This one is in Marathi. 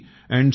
s